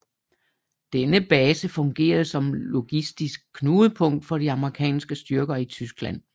Denne base fungerede som logistisk knudepunkt for de amerikanske styrker i Tyskland